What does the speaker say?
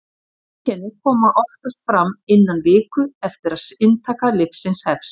einkenni koma oftast fram innan viku eftir að inntaka lyfsins hefst